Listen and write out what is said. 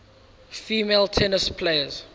female tennis players